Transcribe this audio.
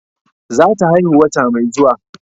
Za ta haihu wata mai zuwa